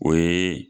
O ye